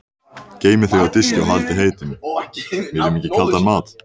Síðan starir hún stjörf fram fyrir sig.